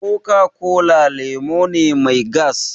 Coca-cola lemu ne mai gas